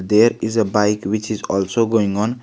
There is a bike which is also going on.